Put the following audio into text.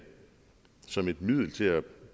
som et middel til at